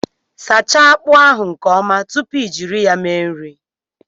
Sachaa akpu ahu nke Oma tupu I jiri ya mee nri